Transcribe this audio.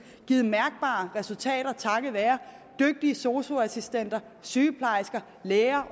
givet mærkbare resultater takket være dygtige sosu assistenter sygeplejersker læger